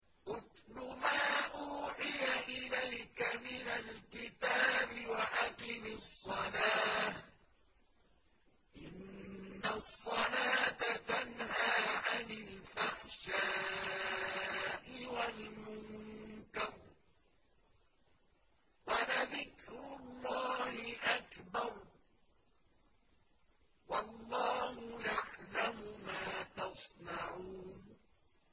اتْلُ مَا أُوحِيَ إِلَيْكَ مِنَ الْكِتَابِ وَأَقِمِ الصَّلَاةَ ۖ إِنَّ الصَّلَاةَ تَنْهَىٰ عَنِ الْفَحْشَاءِ وَالْمُنكَرِ ۗ وَلَذِكْرُ اللَّهِ أَكْبَرُ ۗ وَاللَّهُ يَعْلَمُ مَا تَصْنَعُونَ